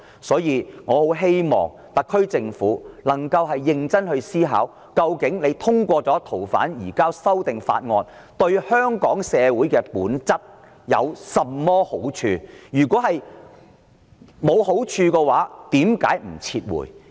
所以，我很希望特區政府能夠認真思考，究竟通過移交逃犯的修訂條例草案對香港社會的本質有甚麼好處。